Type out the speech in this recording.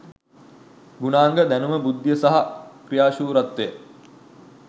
ගුණාංග දැනුම බුද්ධිය සහ ක්‍රියාශූරත්වය